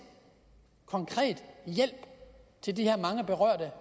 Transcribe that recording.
konkret hjælp til de her mange berørte